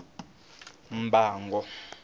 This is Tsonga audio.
mbango